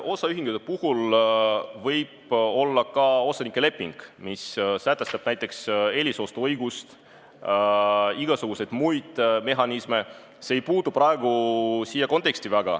Osaühingute puhul võib olla ka osanike leping, mis sätestab näiteks eelisostuõiguse, igasugused muud mehhanismid, see ei puutu praegu siia konteksti.